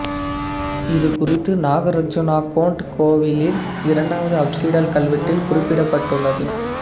இது குறித்து நாகார்ஜுனகோண்ட் கோவிலின் இரண்டாவது அப்சிடல் கல்வெட்டில் குறிப்பிடப்பட்டுள்ளது